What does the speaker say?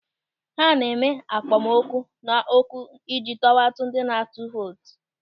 Ha na-eme akpọmoku na okwu ịji tọwata ndị na-atụ vootu.